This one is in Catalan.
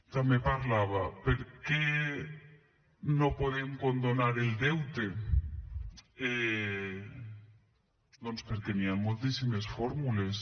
també parlava per què no podem condonar el deute doncs perquè hi han moltíssimes fórmules